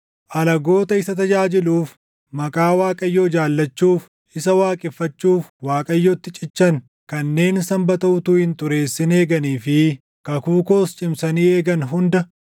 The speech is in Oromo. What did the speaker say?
Alagoota isa tajaajiluuf, maqaa Waaqayyoo jaallachuuf, isa waaqeffachuuf Waaqayyotti cichan kanneen Sanbata utuu hin xureessin eeganii fi kakuu koos cimsanii eegan hunda,